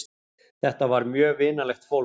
Þetta var mjög vinalegt fólk.